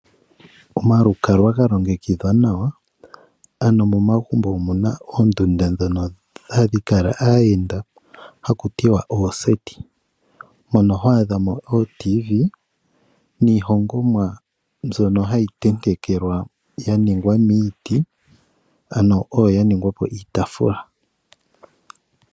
Omalukalwa ga longekidhwa nawa, ano momagumbo omuna oondunda ndhono hadhi kala aayenda haku tiwa ooseti mono ho adhamo ootv niihongomwa mbyono hayi tentekelwa ya ningwa miiti ano oyo ya ningwa po iitaafula.